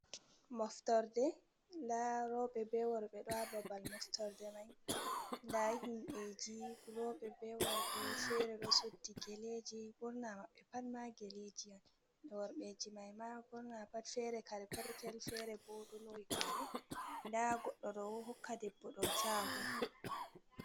Moftorde da robe be worbe do ha babal moftorde mai da himbeji robe be worbe fere do suddi geleji burna mabbe pat ma geleji an be worbeji mai ma burna pat fere kare per petel fere bo do lowi gare da goddo do hokka debbo do chahu.